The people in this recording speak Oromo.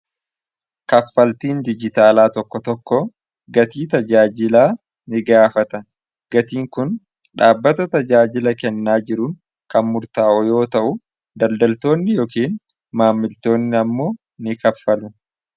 kaffaltiin dijitaalaa tokko tokko gatii tajaajilaa ni gaafata gatiin kun dhaabbata tajaajila kennaa jiruun kanmurtaa'u yoo ta'u daldaltoonni yookiin maammiltoonni ammoo ni kaffalu